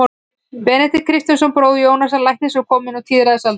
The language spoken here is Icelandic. Benedikt Kristjánsson, bróðir Jónasar læknis og kominn á tíræðisaldur.